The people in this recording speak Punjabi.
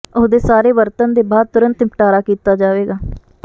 ਉਹ ਦੇ ਸਾਰੇ ਵਰਤਣ ਦੇ ਬਾਅਦ ਤੁਰੰਤ ਨਿਪਟਾਰਾ ਕੀਤਾ ਜਾਵੇਗਾ